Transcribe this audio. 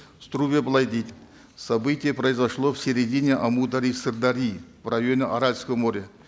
струге былай дейді событие произошло в середине амударьи и сырдарьи в районе аральского моря